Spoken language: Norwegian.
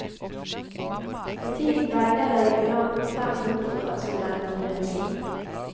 For tiden veileder jubilanten fem doktorgradsstudenter i medisin.